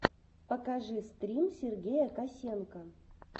покажи стрим сергея косенко